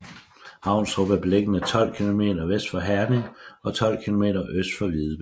Havnstrup er beliggende 12 kilometer vest for Herning og 12 kilometer øst for Videbæk